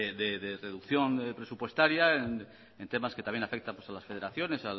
de reducción presupuestaria en temas que también afectan pues a las federaciones